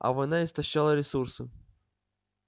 а война истощала ресурсы